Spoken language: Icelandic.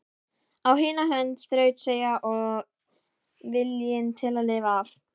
Á hina hönd þrautseigja og viljinn til að lifa af.